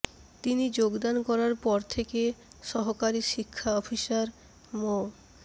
তিনি যোগদান করার পর থেকে সহকারী শিক্ষা অফিসার মো